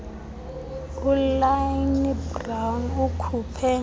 ulynne brown ukhuphe